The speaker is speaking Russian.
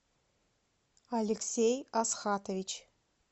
алексей асхатович